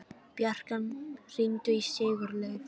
Bjarkan, hringdu í Sigurleif.